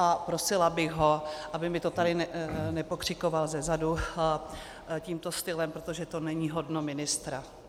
A prosila bych ho, aby mi to tady nepokřikoval zezadu tímto stylem, protože to není hodno ministra.